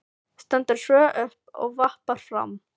Stendur svo upp og vappar fram.